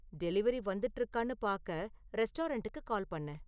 delivery வந்துட்டு இருக்கான்னு பாக்க ரெஸ்டாரண்டுக்கு கால் பண்ணு